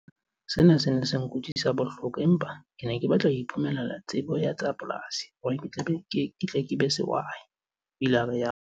"Sena se ne se nkutlwisa bohloko empa ke ne ke batla ho iphumanela tsebo ya tsa polasi hore ke tle ke be sehwai," o ile a rialo.